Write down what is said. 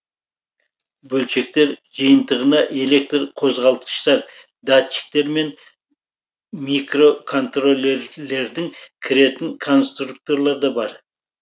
бөлшектер жиынтығына электр қозғалтқыштар датчиктер мен микроконтроллерлердің кіретін конструкторлар да бар